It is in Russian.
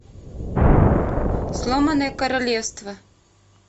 сломанное королевство